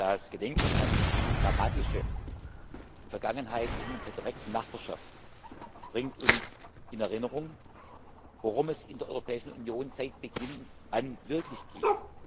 Das Gedenken an diese dramatische Vergangenheit in unserer direkten Nachbarschaft bringt uns in Erinnerung, worum es in der Europäischen Union seit Beginn an wirklich geht.